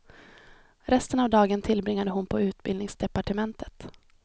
Resten av dagen tillbringade hon på utbildningsdepartementet.